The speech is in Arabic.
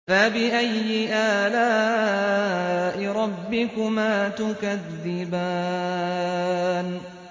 فَبِأَيِّ آلَاءِ رَبِّكُمَا تُكَذِّبَانِ